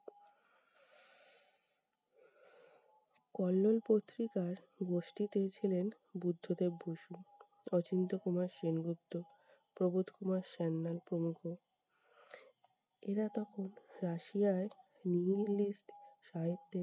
কল্লোল পত্রিকার গোষ্ঠীতে ছিলেন বুদ্ধদেব বসু, অচিন্ত কুমার সেনগুপ্ত, প্রবোধ কুমার, শ্যামলাল প্রমুখ। এরা তখন রাশিয়ার nihilist সাহিত্যে